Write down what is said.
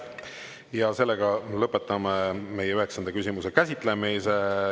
Ja sellega lõpetame meie üheksanda küsimuse käsitlemise.